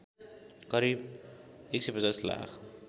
करिब १५० लाख